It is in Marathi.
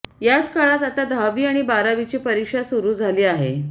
याच काळात आता दहावी आणि बारावीची परीक्षा सुरू झाली आहे